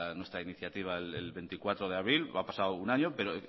nuestra iniciativa el veinticuatro de abril ha pasado un año pero